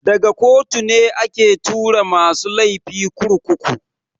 Daga kotu ne ake tura masu laifi kurkuku.